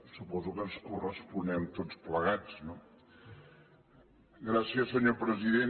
suposo que ens corresponem tots plegats no gràcies senyor president